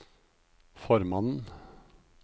formannen